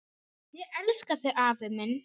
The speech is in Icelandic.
Ég elska þig, afi minn!